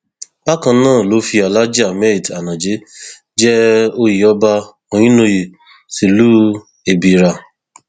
bákan náà ló fi alhaji ahmed anaje jẹ oyè ọba ohinoyi tìlùú ebírà